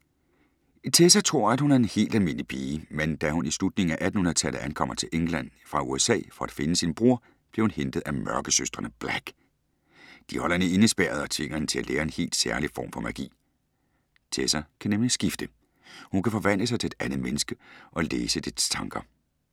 Tessa tror, hun er en helt almindelig pige, men da hun i slutningen af 1800-tallet ankommer til England fra USA for at finde sin bror, bliver hun hentet af mørkesøstrene Black. De holder hende indespærret og tvinger hende til at lære en helt særlig form for magi. Tessa kan nemlig skifte. Hun kan forvandle sig til et andet menneske og læse dets tanker.